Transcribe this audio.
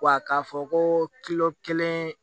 Wa k'a fɔ ko kelen